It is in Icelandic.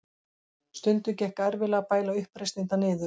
Stundum gekk erfiðlega að bæla uppreisnirnar niður.